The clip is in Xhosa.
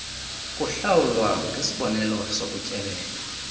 kuhlawulwa ngesibonelelo sokutyelela